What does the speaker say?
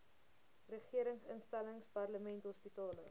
regeringsinstellings parlement hospitale